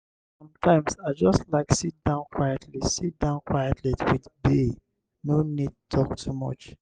sometimes i just like sit down quietly sit down quietly with bae no need talk too much.